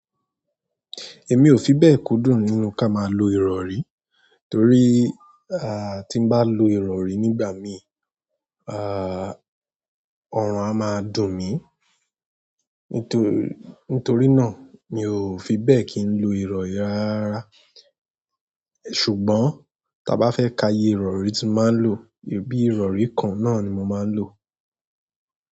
Èmi ò fi bẹ́ẹ̀ kúndùn nínú ká máa lo ìrọ̀rí, torí tí n bá lo ìrọ̀rí nígbà mí, ọrùn a máa dùn mí. Nítorí, náà mi ò fi bẹ́ẹ̀ kín lo ìrọ̀rí rárá rara. Ṣùgbọ́n, tí a bá fẹ́ ka iye ìrọ̀rí tí n máa ń lò, bí ìrọ̀rí kan náà ni mo máa ń lò.